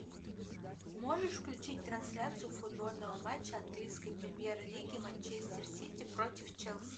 можешь включить трансляцию футбольного матча английской премьер лиги манчестер сити против челси